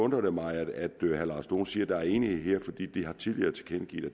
det mig at herre lars dohn siger at der er enighed her fordi de tidligere har tilkendegivet at